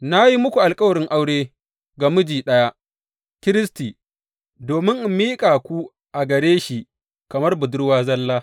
Na yi muku alkawarin aure ga miji ɗaya, Kiristi, domin in miƙa ku a gare shi kamar budurwa zalla.